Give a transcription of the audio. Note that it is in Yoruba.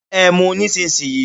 Ẹ mú un nísinsìnyí!